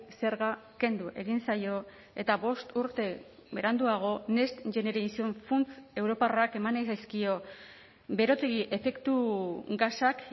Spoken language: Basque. zerga kendu egin zaio eta bost urte beranduago next generation funts europarrak eman nahi zaizkio berotegi efektu gasak